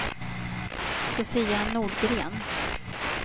Sofia Nordgren